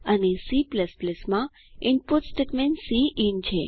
અને C માં input statement cin છે